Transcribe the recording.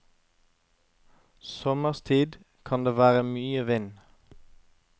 Sommerstid kan det være mye vind.